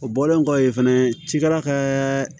O bɔlen kɔfɛ fɛnɛ cikɛla ka